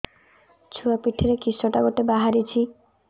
ଛୁଆ ପିଠିରେ କିଶଟା ଗୋଟେ ବାହାରିଛି